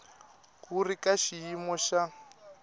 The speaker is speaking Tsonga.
wu ri ka xiyimo xa